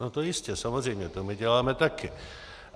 No to jistě, samozřejmě, to my děláme taky.